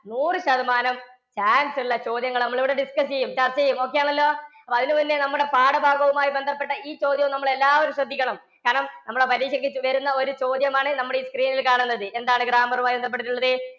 നൂറു ശതമാനം chance ഉള്ള ചോദ്യങ്ങള് നമ്മളിവിടെ discuss ചെയ്യും, ചര്‍ച്ച ചെയ്യും. okay ആണല്ലോ? അപ്പോ അതിനു മുന്നേ നമ്മുടെ പാഠഭാഗവുമായി ബന്ധപ്പെട്ട ഈ ചോദ്യവും നമ്മളെല്ലാവരും ശ്രദ്ധിക്കണം. കാരണം നമ്മൂടെ പരീക്ഷക്ക്‌ വരുന്ന ഒരു ചോദ്യമാണ് നമ്മളീ screen ല്‍ കാണുന്നത്. എന്താണ് grammar മായി ബന്ധപ്പെട്ടിട്ടുള്ളത്?